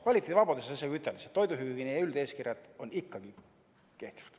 "Kvaliteedivabadusi" ei saa siin isegi ütelda, sest toiduhügieeni üldeeskirjad on ikkagi kehtivad.